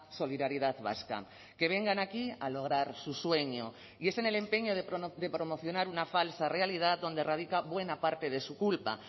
solidaridad vasca que vengan aquí a lograr su sueño y es en el empeño de promocionar una falsa realidad donde radica buena parte de su culpa